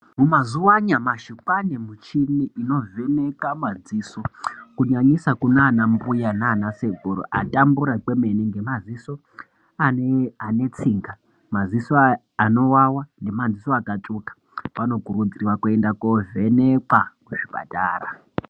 Mumazuva anyamashi kwava nemichini inovheneka maziso kunyanyisa kunana mbuya nana sekuru atambura kwemene nemadziso ane tsinga, maziso anovava nemaziso akatsvuka .Vanokurudzirwa kuenda kovhenekwa kuzvipatara.